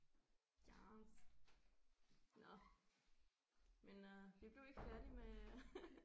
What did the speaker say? Yes nåh men øh vi blev ikke færdige med